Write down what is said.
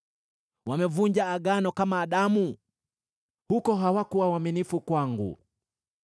Wamevunja Agano kama Adamu: huko hawakuwa waaminifu kwangu.